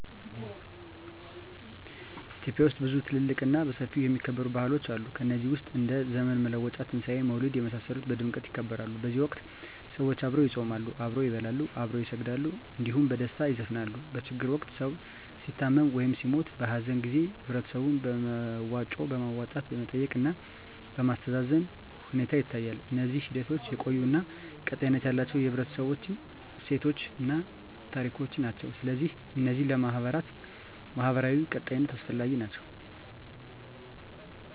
ኢትዮጵያ ውስጥ ብዙ ትልልቅ እና በሰፊው የሚከበሩ ባህሎች አሉ ከነዚህ ውስጥ እንደ ዘመን መለወጫ; ትንሣኤ; መውሊድ የመሳሰሉት በድምቀት ይከበራሉ በዚህ ወቅት ሰዎች አብረው ይጾማሉ፣ አብረው ይበላሉ፣ አብረው ይሰግዳሉ እንዲሁም በደስታ ይዘፍናሉ። በችግር ወቅት ሰዉ ሲታመም ወይም ሲሞት(በሀዘን) ጊዜ በህበረተሰቡ በመዋጮ በማዋጣት መጠየቅ እና ማስተዛዘን ሁኔታ ይታያል። እነዚህ ሂደቶች የቆዩ እና ቀጣይነት ያላቸው የህብረተሰቡ እሴቶችን እና ታሪኮችን ናቸው። ስለዚህ እነዚህ ለማህበራዊ ቀጣይነት አስፈላጊ ናቸው